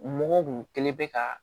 Mɔgɔw kun kɛlen bɛ ka